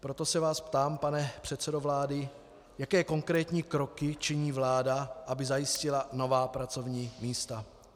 Proto se vás ptám, pane předsedo vlády, jaké konkrétní kroky činí vláda, aby zajistila nová pracovní místa.